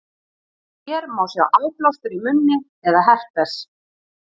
hér má sjá áblástur í munni eða herpes